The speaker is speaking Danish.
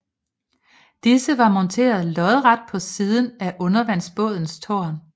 Disse var monteret lodret på siden af undervandsbådens tårn